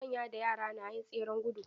Manya da yara na yin tseren gudu.